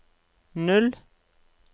null